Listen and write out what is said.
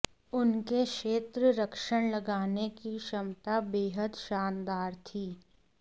उनके क्षेत्ररक्षण लगाने की क्षमता बेहद शानदार थी